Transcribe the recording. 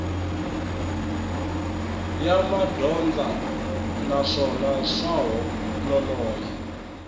ya madyondza naswona swa nonoha